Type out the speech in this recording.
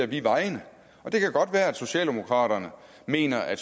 vi vejene det kan godt være at socialdemokraterne mener at